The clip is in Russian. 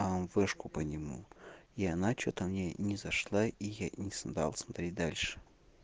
а он флешку по нему и она что-то мне не зашла и я не стал смотреть дальше